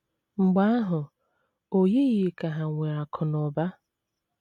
Mgbe ahụ, o yighị ka hà nwere akụ̀ na ụba.